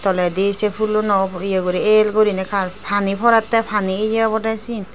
toledi se pholonot ye guri el guri pani porete pani ye obode siyan.